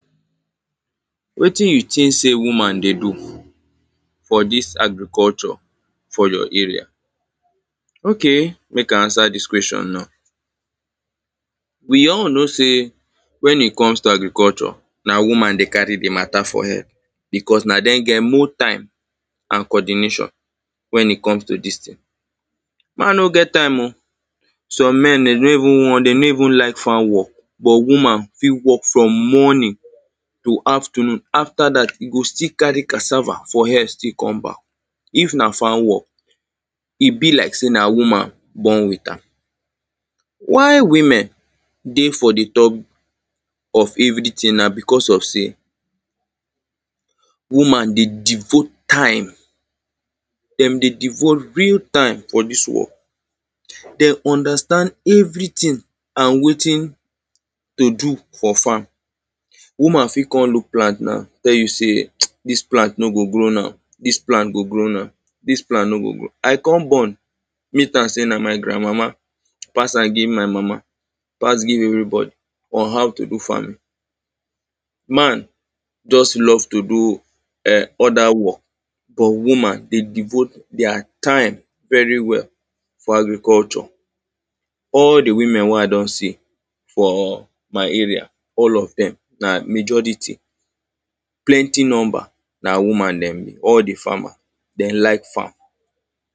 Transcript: Wetin you think say woman dey do for dis agriculture, for your area? Okay, mek I answer dis question now, We all know say when e come to agriculture, na woman dey carry the mata for head because na them get more time and co-ordination when it comes to dis thing. Man no get time o. Some men, them no even wan them no even lak farm work, but woman fit work from morning to afternoon. After dat, she go still carry cassava for head tek come back. If na farm work, e be lak say na woman born with am. Why women dey for the table of everything na because of say woman dey devote time them dey devote real time for dis work. Them understand everything and wetin to do for farm. Woman fit come look plant now, tell you say dis plant no go grow now, dis plant go grow now. This plant no go grow I come born meet am say na my grand mama pass am give my mama, pass give everybody on how to do farming. Man just love to do um, other work, but woman dey devout their time very well for agriculture. All the women wey I don see for my area, all of them na majority, plenty number na woman them be, all the farmer. Them lak farm.